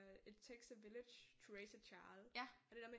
It takes a village to raise a child og det der med